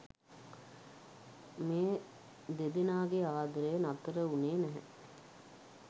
මේ දෙදෙනාගේ ආදරය නතර වුණේ නැහැ.